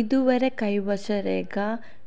ഇതുവരെ കൈവശരേഖ